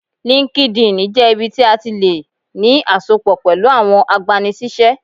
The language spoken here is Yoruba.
Línkídinì jẹ́ ibi tí a tí lè ní àsopọ̀ pẹ̀lú àwọn agbani-síṣẹ́